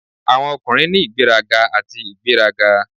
Awọn ọkunrin ni igberaga ati igberaga.